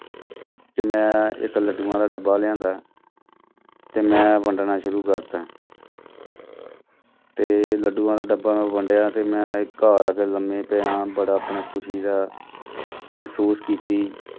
ਤੇ ਮੈਂ ਇੱਕ ਲੱਡੂਆਂ ਦਾ ਡੱਬਾ ਲਿਆਦਾਂ ਤੇ ਮੈਂ ਵੰਡਣਾ ਸ਼ੁਰੂ ਕਰ ਦਿੱਤਾ ਤੇ ਲੱਡੂਆਂ ਦਾ ਡੱਬਾ ਮੈਂ ਵੰਡਿਆਂ ਤੇ ਮੈਂ ਘਰ ਆ ਕੇ ਲੰਮੇ ਪਿਆਂ ਬੜਾ ਆਪਣਾ ਖ਼ੁਸ਼ੀ ਦਾ ਮਹਿਸੂਸ ਕੀਤੀ।